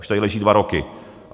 Už tady leží dva roky.